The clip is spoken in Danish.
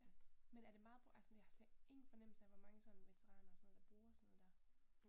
Ja, men er det meget brugt? Altså sådan jeg har ingen fornemmelse af hvor mange sådan veteraner og sådan noget der bruger sådan noget der